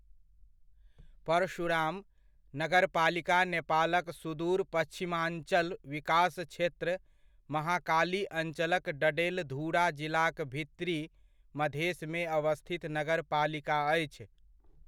परशुराम नगरपालिका नेपालक सुदूर पच्छिमाञ्चल विकास क्षेत्र महाकाली अञ्चलक डडेलधुरा जिलाक भित्री मधेसमे अवस्थित नगरपालिका अछि।